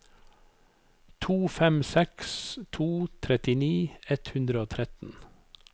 to fem seks to trettini ett hundre og tretten